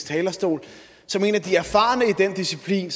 talerstol som en af de erfarne i den disciplin